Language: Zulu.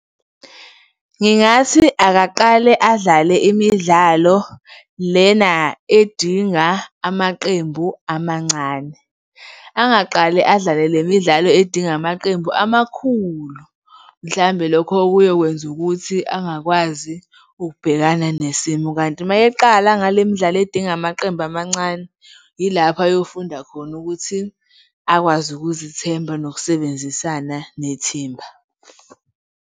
Ngingathi akaqale adlale imidlalo lena edinga amaqembu amancane. Angaqale adlale lemidlalo edinga amaqembu amakhulu mhlambe lokho kuyokwenza ukuthi angakwazi ukubhekana nesimo kanti uma eqala ngalemdlalo edinga amaqembu amancane, yilapho ayofunda khona ukuthi akwazi ukuzithemba nokusebenzisana nethimba.